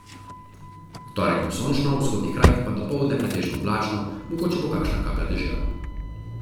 V torek bo sončno, v vzhodnih krajih pa dopoldne pretežno oblačno, mogoča bo kakšna kaplja dežja.